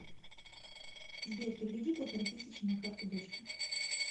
сбер переведи полторы тысячи на карту дочке